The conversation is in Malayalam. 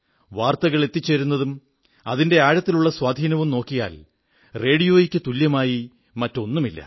വാർത്തകൾ എത്തിച്ചേരുന്നതും അതിന്റെ ആഴത്തിലുള്ള സ്വാധീനവും നോക്കിയാൽ റേഡിയോയ്ക്കു തുല്യമായി മറ്റൊന്നുമില്ല